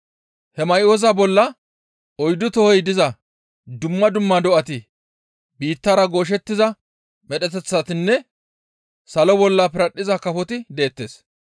He may7oza bolla oyddu tohoy diza dumma dumma do7ati biittara gooshettiza medheteththatinne salo bolla piradhdhiza kafoti deettes.